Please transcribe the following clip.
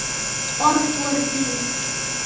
Orð voru dýr.